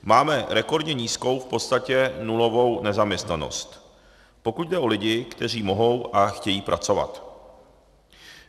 Máme rekordně nízkou, v podstatě nulovou nezaměstnanost, pokud jde o lidi, kteří mohou a chtějí pracovat.